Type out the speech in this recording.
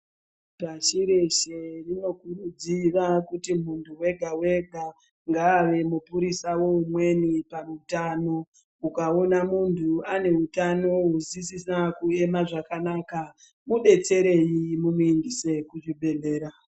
Pashi reshe tinokuridzirwa kuti munhu wega wega ngaave mupurisa weumweni peutano ukaona muntu aneutano huasisina kuema zvakanaka mudetsereyi mumuindise kuchibhedhlera.